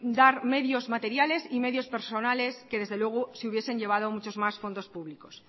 dar medios materiales y medios personales que desde luego se hubiesen llevado muchos más fondos públicos